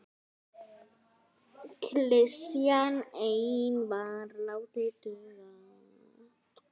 Klisjan ein var látin duga.